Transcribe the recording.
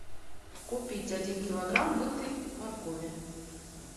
купить один килограмм мытой моркови